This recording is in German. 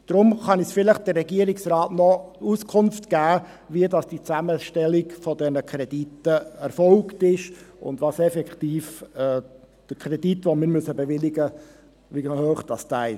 Darum kann uns vielleicht der Regierungsrat noch Auskunft geben, wie diese Zusammenstellung der Kredite erfolgte und wie hoch der Kredit, den wir bewilligen müssen, ist.